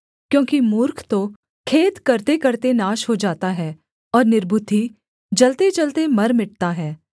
क्योंकि मूर्ख तो खेद करतेकरते नाश हो जाता है और निर्बुद्धि जलतेजलते मर मिटता है